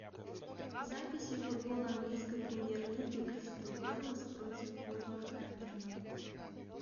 записи футбола английской премьер лиги кристал пэлас против вулверхэмптона